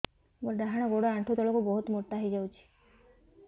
ମୋର ଡାହାଣ ଗୋଡ଼ ଆଣ୍ଠୁ ତଳକୁ ବହୁତ ମୋଟା ହେଇଯାଉଛି